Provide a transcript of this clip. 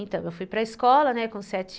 Então, eu fui para a escola, né.